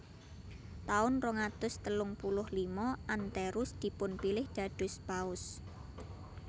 Taun rong atus telung puluh lima Anterus dipunpilih dados Paus